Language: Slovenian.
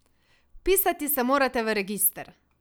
Vpisati se morate v register!